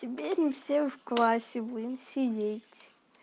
теперь мы все в классе будем сидеть